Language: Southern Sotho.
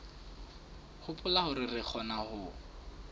hopola hore re kgona ho